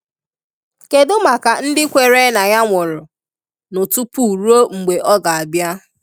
Kedụ maka ndi kwere na Ya nwụrụ nụ tupu rue mgbe ọ ga bia?